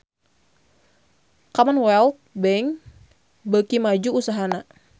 Commonwealth Bank beuki maju usahana